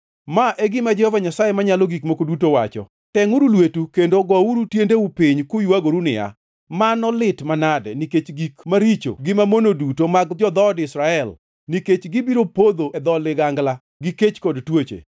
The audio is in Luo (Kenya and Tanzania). “ ‘Ma e gima Jehova Nyasaye Manyalo Gik Moko Duto wacho: Tengʼuru lweteu kendo gouru tiendeu piny kuywagoru niya, “Mano lit manade!” Nikech gik maricho gi mamono duto mag jo-dhood Israel, nikech gibiro podho e dho ligangla, gi kech kod tuoche.